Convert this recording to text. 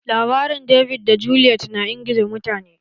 Labarin David da Goliath na ingiza mutane